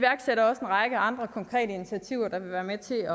række andre konkrete initiativer der vil være med til at